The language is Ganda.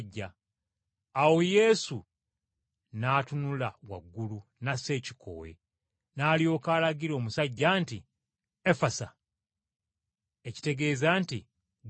Awo Yesu n’atunula waggulu n’assa ekikkowe, n’alyoka alagira omusajja nti, “Efasa!” ekitegeeza nti, “Gguka.”